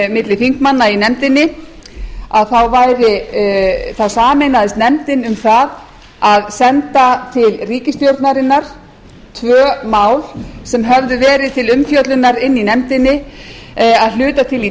milli þingmanna í nefndinni þá sameinaðist nefndin um það að senda til ríkisstjórnarinnar tvö mál sem höfðu verið til umfjöllunar í nefndinni að hluta til í